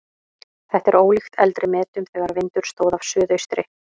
Þetta er ólíkt eldri metum þegar vindur stóð af suðaustri.